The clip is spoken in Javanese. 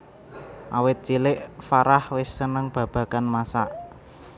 Awit cilik Farah wis seneng babagan masak